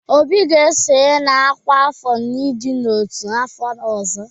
Obi ga-esonye na ọkwá afọ ịdị n'ọtú n'afọ ọzọ.